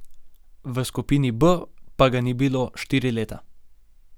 V skupini B pa ga ni bilo štiri leta.